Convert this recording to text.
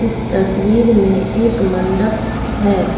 इस तस्वीर में एक मंडप है।